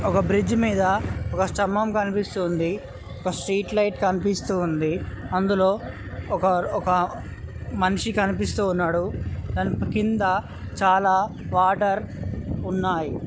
ఒక బ్రిడ్జి మీద ఒక స్థంభం కనిపిస్తుంది. ఒక స్ట్రీట్ లైట్ కనిపిస్తూ ఉంది. అందులో ఒకర్ ఒక మనిషి కనిపిస్తూ ఉన్నాడు. దాని కింద చాలా వాటర్ ఉన్నాయ్.